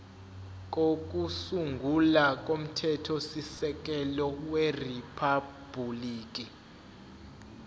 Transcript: kokusungula komthethosisekelo weriphabhuliki